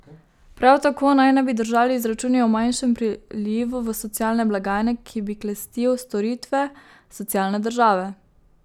Prav tako naj ne bi držali izračuni o manjšemu prilivu v socialne blagajne, ki bi klestil storitve socialne države.